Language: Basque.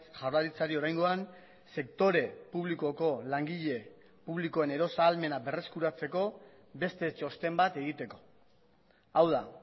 jaurlaritzari oraingoan sektore publikoko langile publikoen erosahalmena berreskuratzeko beste txosten bat egiteko hau da